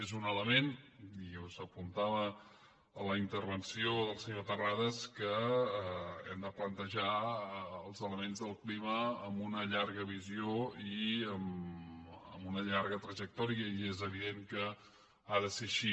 és un element i s’apuntava en la intervenció del senyor terrades que hem de plantejar els elements del clima amb una llarga visió i amb una llarga trajectòria i és evident que ha de ser així